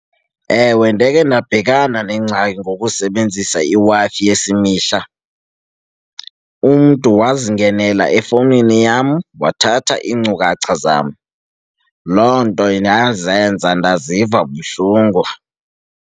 Ewe, ndakhe ndabhekana nengxaki ngokusebenzisa iWi-Fi yesimahla. Umntu wazi ngendlela efowunini yam wathatha iinkcukacha zam, loo nto ndazenza ndaziva buhlungu.